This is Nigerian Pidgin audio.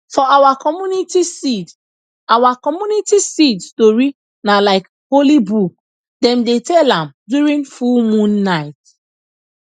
for our community seed our community seed story na like holy book dem dey tell am during full moon night